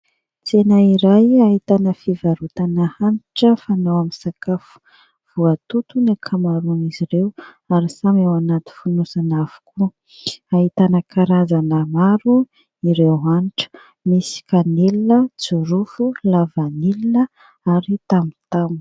Tsena iray ahitana fivarotana hanitra fanao amin'ny sakafo. Voatoto ny ankamaroan'izy ireo ary samy ao anaty fonosana avokoa. Ahitana karazana maro ireo hanitra : misy kanelina, jirofo, lavanilina ary tamotamo.